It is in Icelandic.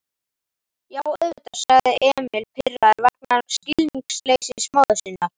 Já, auðvitað, sagði Emil, pirraður vegna skilningsleysis móður sinnar.